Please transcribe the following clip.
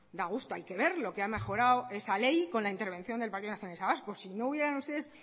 da gusto hay que ver lo que ha mejorado esa ley con la intervención del partido nacionalista vasco si no hubieran ustedes